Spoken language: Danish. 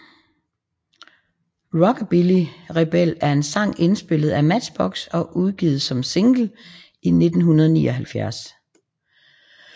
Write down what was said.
Rockabilly Rebel er en sang indspillet af Matchbox og udgivet som single i 1979